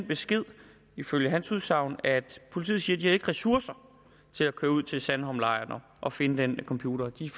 besked ifølge hans udsagn at politiet siger at de ikke har ressourcer til at køre ud til sandholmlejren og finde den computer de